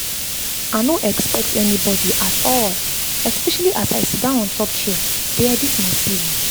i no expect anybody at all especially as i sit down on top chair dey edit my cv